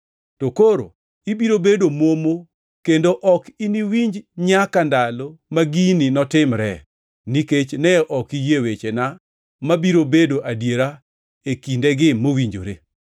To koro ibiro bedo momo kendo ok iniwinj nyaka ndalo ma gini notimre, nikech ne ok iyie wechena mabiro bedo adiera e kindegi mowinjore.”